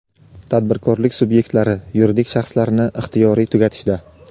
tadbirkorlik subyektlari – yuridik shaxslarni ixtiyoriy tugatishda:.